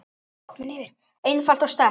einfalt og sterkt.